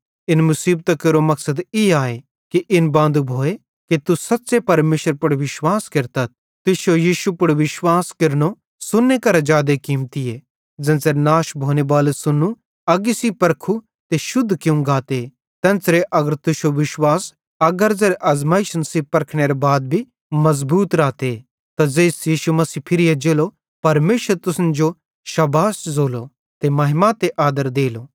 इन मुसीबतां केरो मकसद ई आए कि इन बांदू भोए कि तुस सच़्च़े परमेशरे पुड़ विश्वास केरतथ तुश्शो यीशु मसीह पुड़ विश्वास केरनो सोन्ने करां भी जादे कीमतीए ज़ेन्च़रे नाश भोनेबालू सोन्नू अग्गी सेइं परखू ते शुद्ध कियूं गाते तेन्च़रे अगर तुश्शो विश्वास अगारे ज़ेरे अज़मैइशन सेइं परखनेरे बाद भी मज़बूत रहते त ज़ेइस यीशु मसीह फिरी एज्जेलो परमेशर तुसन जो शाबाश ज़ोलो महिमा ते आदर देलो